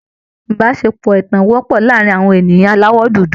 Ìbáṣepọ̀ ẹ̀tàn wọ́pọ̀ láàárín àwọn ènìyàn aláwọ̀ dúdú